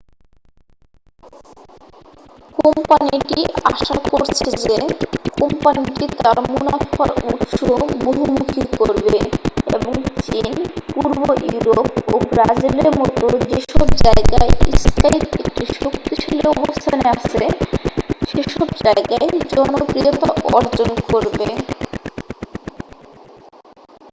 কোম্পানিটি আশা করছে যে কোম্পানিটি তার মুনাফার উৎস বহুমুখী করবে এবং চীন, পূর্ব ইউরোপ ও ব্রাজিলের মতো যেসব জায়গায় স্কাইপ একটি শক্তিশালী অবস্থানে আছে সেসব জায়গায় জনপ্রিয়তা অর্জন করবে।